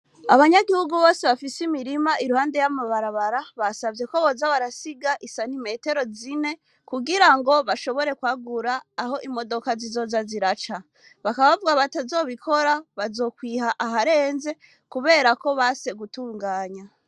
Abanyagihugu bose bafise imirima iruhande y'amabarabara, babasavyeko boza barasiga isantimetero zine kugira ngo bashobore kwagura aho imodoka zizoza ziraca. Bakaba bavuga ko abatazobikora bazokwiha aharenze kuberako banse gutunganya.